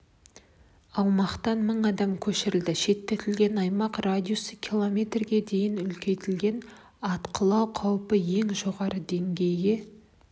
аумақтан мың адам көшірілді шеттетілген аймақ радиусы км дейін үлкейтілді атқылау қаупі ең жоғары деңгейге